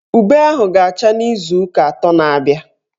Ube ahụ ga-acha n'izuụka atọ na-abịa.